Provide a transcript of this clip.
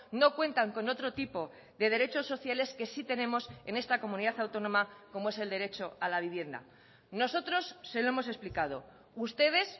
no cuentan con otro tipo de derechos sociales que sí tenemos en esta comunidad autónoma como es el derecho a la vivienda nosotros se lo hemos explicado ustedes